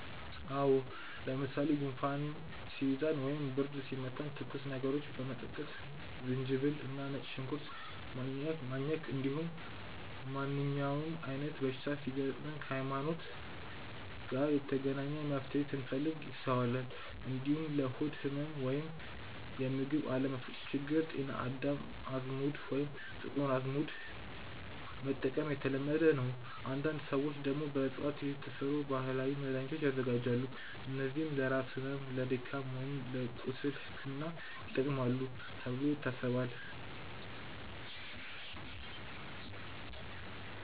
አዎ። ለምሳሌ ጉንፋን ሲይዘን ወይም ብርድ ሲመታን ትኩስ ነገሮችን መጠጣት፣ ዝንጅብል እና ነጭ ሽንኩርት ማኘክ፣ እንዲሁም ማንኛውም አይነት በሽታ ሲገጥም ከእምነት (ሀይማኖት) ጋር የተገናኘ መፍትሄን ስንፈልግ ይስተዋላል። እንዲሁም ለሆድ ህመም ወይም የምግብ አለመፈጨት ችግር ጤና አዳም፣ አዝሙድ ወይም ጥቁር አዝሙድ መጠቀም የተለመደ ነው። አንዳንድ ሰዎች ደግሞ በእፅዋት የተሰሩ ባህላዊ መድሃኒቶችን ያዘጋጃሉ፣ እነዚህም ለራስ ህመም፣ ለድካም ወይም ለቁስል ሕክምና ይጠቅማሉ ተብሎ ይታሰባል።